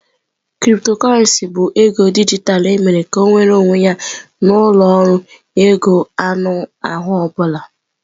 Cryptocurrency bụ ego dijitalụ emere ka ọ nweere onwe ya na ụlọ ọrụ ego anụ ahụ ọ bụla.